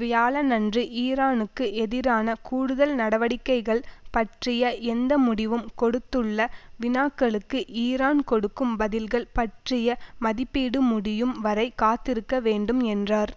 வியாழனன்று ஈரானுக்கு எதிரான கூடுதல் நடவடிக்கைகள் பற்றிய எந்த முடிவும் கொடுத்துள்ள வினாக்களுக்கு ஈரான் கொடுக்கும் பதில்கள் பற்றிய மதிப்பீடு முடியும் வரை காத்திருக்க வேண்டும் என்றார்